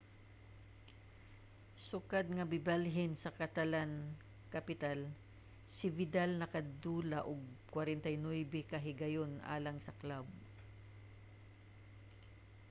sukad nga mibalhin sa catalan-capital si vidal nakadula og 49 ka higayon alang sa club